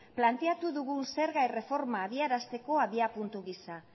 planteatu dugun zerga erreforma abiarazteko abiapuntu gisa